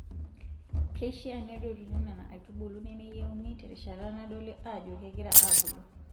Keishaa nedotuni Nena aitubulu nemeyieuni terishata nadoli Ajo kegira aabulu.